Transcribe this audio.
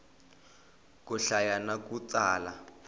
ku hlaya na ku tsala